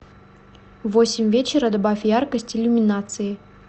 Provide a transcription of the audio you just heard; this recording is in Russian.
в восемь вечера добавь яркость иллюминации